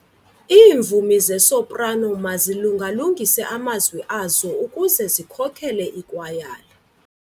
Iimvumi zesoprano mazilunga-lungise amazwi azo ukuze zikhokele ikwayala.